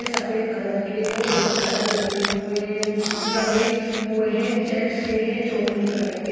सफ़ेद कलर के और दो चादर लगे हुए लगे हुए है चेक्स के है चौकड़ी कलर के--